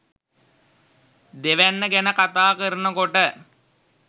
දෙවැන්න ගැන කතා කරනකොට